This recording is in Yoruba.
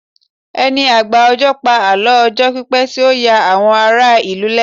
ẹni agba ọjọ pa àlọ ọjọ pipẹ ti o ya àwon ará ìlú lẹnu